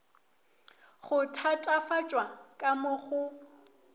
go thatafatšwa ka mo go